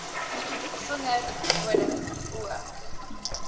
vinger nodig o